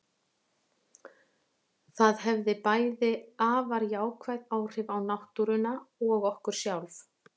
Það hefði bæði afar jákvæð áhrif á náttúruna og okkur sjálf.